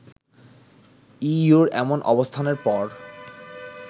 ইইউর এমন অবস্থানের পর